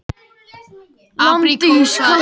Ingdís, kanntu að spila lagið „Alltaf einn“?